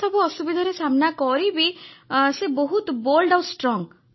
sir ସେ ତାଙ୍କ ଜୀବନରେ ଏତେସବୁ ଅସୁବିଧାର ସାମ୍ନା କରି ବି ସେ ବହୁତ ସାହସୀ ଆଉ ଦୃଢ